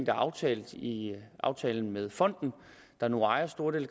er aftalt i aftalen med fonden der nu ejer store dele